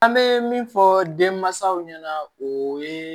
An bɛ min fɔ denmansaw ɲɛna o ye